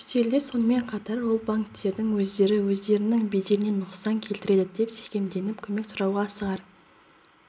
үстелде сонымен қатар ол банктердің өздері өздерінің беделіне нұқсан келтіреді деп секемденіп көмек сұрауға асығар